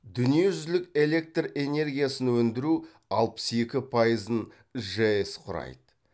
дүниежүзілік электр энергиясын өндіру алпыс екі пайызын жэс құрайды